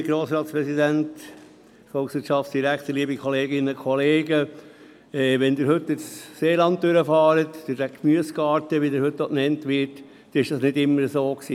Wenn Sie heute durch das Seeland fahren, durch den «Gemüsegarten», wie er heute auch genannt wird, ist das nicht immer so gewesen.